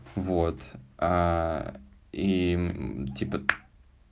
вот и типа